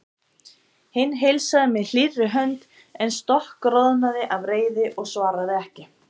Hinn heilsaði með hlýrri hönd en stokkroðnaði af reiði og svaraði ekki.